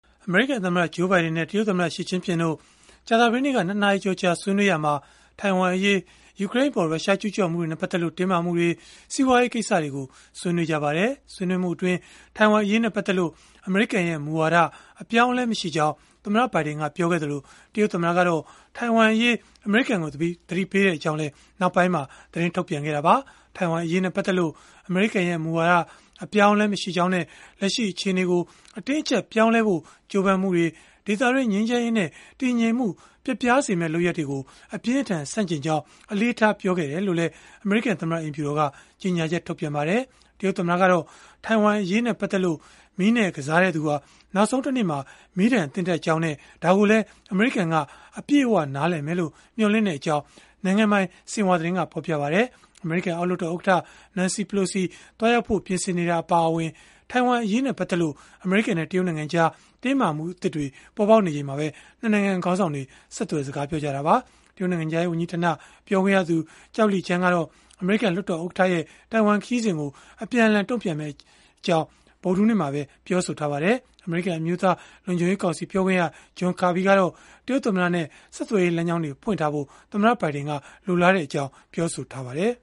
အမေရိကန်သမ္မတ Joe Biden နဲ့ တရုတ်သမ္မတ Xi Jinping တို့ ကြာသပတေးနေ့က ၂ နာရီကျော်ကြာ ဆွေးနွေးရာမှာ ထိုင်ဝမ်အရေး၊ ယူကရိန်းအပေါ် ရုရှားကျုးကျော်မှုတွေနဲ့ ပတ်သက်လို့ တင်းမာမှုတွေ၊ စီးပွားရေးကိစ္စတွေကို ဆွေးနွေးကြပါတယ်။ ဆွေးနွေးမှုအတွင်း ထိုင်ဝမ်အရေးနဲ့ ပတ်သက်လို့ အမေရိကန်ရဲ့ မူဝါဒအပြောင်းအလဲ မရှိကြောင်း သမ္မတဘိုင်ဒင်က ပြောခဲ့သလို၊ တရုတ်သမ္မတကတော့ ထိုင်ဝမ်အရေး အမေရိကန်ကို သတိပေးခဲ့ကြောင်းလည်း နောက်ပိုင်းမှာ သတင်းထုတ်ပြန်ခဲ့တာပါ။ ထိုင်ဝမ်အရေးနဲ့ ပတ်သက်လို့ အမေရိကန်ရဲ့ မူဝါဒအပြောင်းအလဲ မရှိကြောင်းနဲ့ လက်ရှိအခြေအနေကို အတင်းအကျပ် ပြောင်းလဲဖို့ ကြိုးပမ်းမှုတွေ၊ ဒေသတွင်း ငြိမ်းချမ်းရေးနဲ့ တည်ငြိမ်မှု ပျက်ပြားစေမယ့် လုပ်ရပ်တွေကို အပြင်းအထန် ဆန့်ကျင်ကြောင်း အလေးထား ပြောကြားခဲ့တယ်လို့လည်း အမေရိကန်သမ္မတ အိမ်ဖြူတော်က ကြေညာချက် ထုတ်ပြန်ခဲ့ပါတယ်။ တရုတ်သမ္မတကတော့ ထိုင်ဝမ်အရေးနဲ့ ပတ်သက်လို့ မီးနဲ့ကစားတဲ့သူဟာ နောက်ဆုံးတနေ့မှာ မီးဒဏ်သင့်တတ်ကြောင်းနဲ့ ဒါကိုလည်း အမေရိကန်က အပြည့်အဝနားလည်မယ်လို့ မျှော်လင့်ကြောင်း နိုင်ငံပိုင် ဆင်ဟွာသတင်းက ဖော်ပြပါတယ်။ အမေရိကန်အောက်လွှတ်တော် ဥက္ကဋ္ဌ Nancy Pelosi သွားရောက်ဖို့ ပြင်ဆင်နေတာ အပါအဝင် ထိုင်ဝမ်အရေးနဲ့ ပတ်သက်လို့ အမေရိကန်နဲ့ တရုတ်နိုင်ငံကြား တင်းမာမှုသစ်တွေ ပေါ်ပေါက်နေချိန်မှာပဲ ၂ နိုင်ငံ ခေါင်းဆောင်တွေ ဆက်သွယ်စကားပြောခဲ့ကြတာပါ။ တရုတ်နိုင်ငံခြားရေး ဝန်ကြီးဌာန ပြောခွင့်ရ Zhao Lijian ကတော့ အမေရိကန် လွှတ်တော်ဥက္ကဋ္ဌရဲ့ ထိုင်ဝမ်ခရီးစဉ်ကို အပြင်းအထန် တုံ့ပြန်မယ့်အကြောင်း ဗုဒ္ဓဟူးနေ့မှာပဲ ပြောဆိုထားပါတယ်။ အမေရိကန် အမျိုးသားလုံခြုံရေးကောင်စီ ပြောခွင့်ရ John Kirby ကတော့ တရုတ်သမ္မတနဲ့ ဆက်သွယ်ရေး လမ်းကြောင်းတွေ ဖွင့်ထားဖို့ သမ္မတဘိုင်ဒင်က လိုလားကြောင်း ပြောဆိုထားပါတယ်